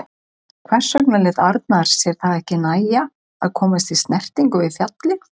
Hvers vegna lét Arnar sér það ekki nægja að komast í snertingu við fjallið?